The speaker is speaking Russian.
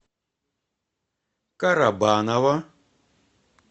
карабаново